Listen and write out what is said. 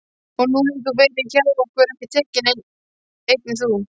Og nú hefur þú verið frá okkur tekinn, einnig þú.